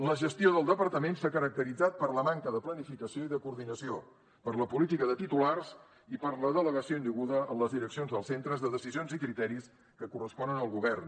la gestió del departament s’ha caracteritzat per la manca de planificació i de coordinació per la política de titulars i per la delegació indeguda en les direccions dels centres de decisions i criteris que corresponen al govern